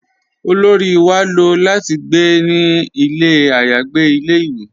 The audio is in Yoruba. Olóri wà ló láti gbé ní ilẹ̀ ayàgbè ilẹ̀-ìwé